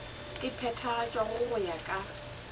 e phethagatšwago go ya ka